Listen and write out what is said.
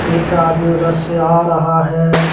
एक आदमी उधर से आ रहा है।